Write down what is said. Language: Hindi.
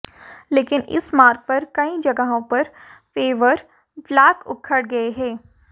लेकिन इस मार्ग पर कई जगहों पर पेवर ब्लॉक उखड़ गए है